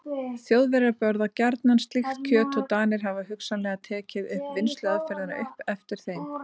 Þjóðverjar borða gjarnan slíkt kjöt og Danir hafa hugsanlega tekið vinnsluaðferðina upp eftir þeim.